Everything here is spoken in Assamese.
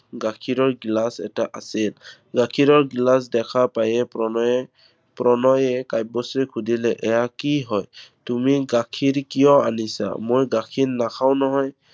গাখীৰৰ গিলাচ এটা আছিল। গাখীৰৰ গিলাচ দেখা পাইয়ে প্ৰণয়ে, প্ৰণয়ে কাব্যশ্ৰীক সুধিলে এইয়া কি হয়, তুমি গাখীৰ কিয় আনিছা? মই গাখীৰ নাখাওঁ নহয়।